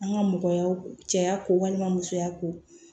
An ka mɔgɔya cɛya ko walima musoya ko